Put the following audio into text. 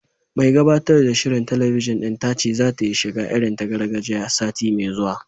Mai gabatar da shirin talabijin ɗin ta ce zata yi shiga irin ta gargajiya, sati mai zuwa